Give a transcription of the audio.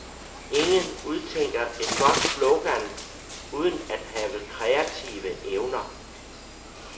Ingen udtænker et godt slogan uden at have kreative evner.